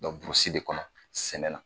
Burusi de kɔnɔ sɛnɛ na